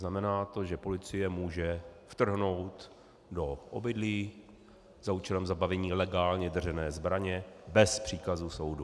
Znamená to, že policie může vtrhnout do obydlí za účelem zabavení legálně držené zbraně bez příkazu soudu.